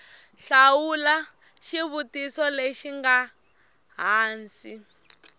hlamula xivutiso lexi nga hansi